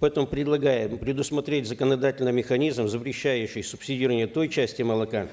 потом предлагаем предусмотреть законодательно механизм запрещающий субсидирование той части молока